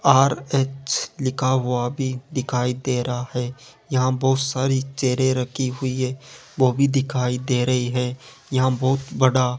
RH लिखा हुआ भी दिखाई दे रहा है। यहां बहुत सारी चेयरे रखी हुई है वह भी दिखाई दे रही है। यहां बहुत बड़ा --